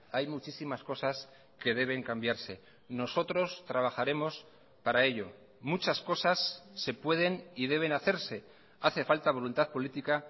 hay muchísimas cosas que deben cambiarse nosotros trabajaremos para ello muchas cosas se pueden y deben hacerse hace falta voluntad política